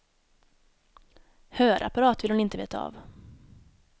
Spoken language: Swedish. Hörapparat vill hon inte veta av.